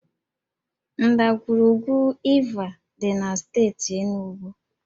Ndagwurugwu Iva dị na steeti Enugwu